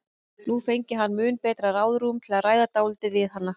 Nú fengi hann mun betra ráðrúm til að ræða dálítið við hana.